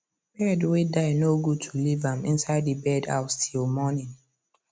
bird way die no good to leave am inside the bird house till morning